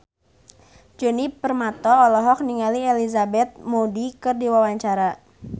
Djoni Permato olohok ningali Elizabeth Moody keur diwawancara